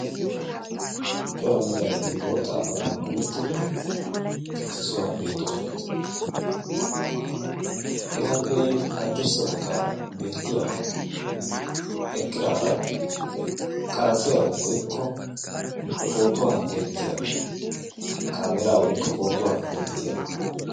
Cora macca naati bootta apala gullottidi issi sohuwan beettoosona. Etappe haddirssa baggaara beettiya eqqidaara qaratstsiyaa woykko pootuwa denttiyaaro kaameeraa woykko pootuwa denttiyaaro.